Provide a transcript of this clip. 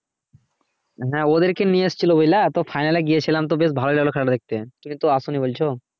হ্যাঁ ওদেরকে নিয়ে এসেছিলো বুঝলা তো final এ গিয়েছিলাম তো বেশ ভালোই লাগলো খেলা টা দেখতে তুমি তো আসোনি বলছো